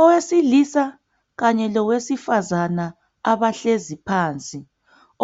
Owesilisa kanye lowesifazana abahlezi phansi,